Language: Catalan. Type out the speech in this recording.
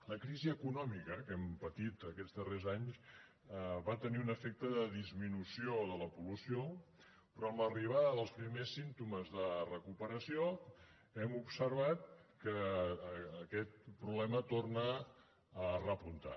la crisi econòmica que hem patit aquests darrers anys va tenir un efecte de disminució de la pol·lució però amb l’arribada dels primers símptomes de recuperació hem observat que aquest problema torna a repuntar